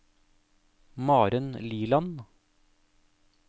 Maren Liland